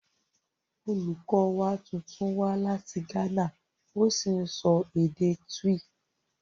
Olùkọ́ wa tuntun wá láti Ghana ó sì ń sọ èdè Twi